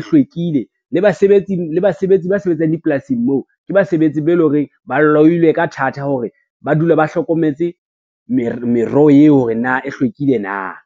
hlwekile le basebetsi ba sebetsang dipolasing moo ke basebetsi ba e leng hore ba loyilwe ka thata hore ba dule ba hlokometse merero eo hore na e hlwekile na.